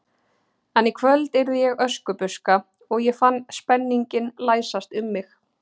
En í kvöld yrði ég Öskubuska og ég fann spenninginn læsast um mig.